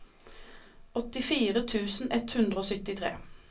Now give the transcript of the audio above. åttifire tusen ett hundre og syttitre